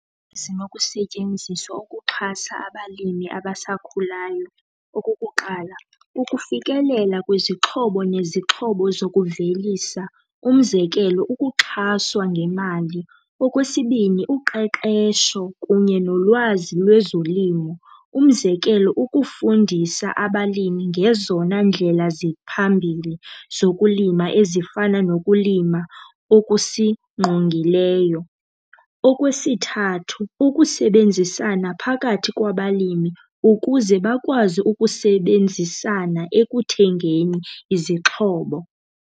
Zinokusetyenziswa ukuxhasa abalimi abasakhulayo. Okokuqala, ukufikelela kwezixhobo nezixhobo zokuvelisa. Umzekelo, ukuxhaswa ngemali. Okwesibini, uqeqesho kunye nolwazi lwezolimo. Umzekelo, ukufundisa abalimi ngezona ndlela ziphambili zokulima ezifana nokulima okusingqongileyo. Okwesithathu, ukusebenzisana phakathi kwabalimi ukuze bakwazi ukusebenzisana ekuthengeni izixhobo.